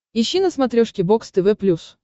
ищи на смотрешке бокс тв плюс